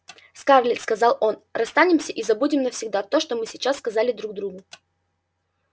скарлетт сказал он расстанемся и забудем навсегда то что мы сейчас сказали друг другу